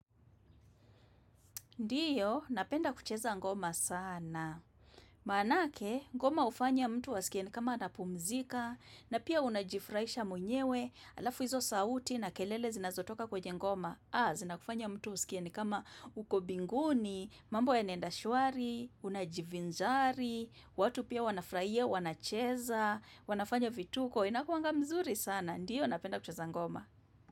Ndiyo, napenda kucheza ngoma sana. Maanake, ngoma hufanya mtu askie ni kama anapumzika, na pia unajifraisha mwenyewe, alafu hizo sauti na kelele zinazotoka kwenye ngoma. Ha, zinakufanya mtu uskie ni kama uko binguni, mambo yanaenda shwari, unajivinjari, watu pia wanafraia, wanacheza, wanafanya vituko, inakuanga mzuri sana. Ndiyo, napenda kucheza ngoma.